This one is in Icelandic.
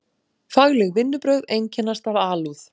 Fagleg vinnubrögð einkennast af alúð.